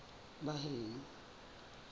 baheno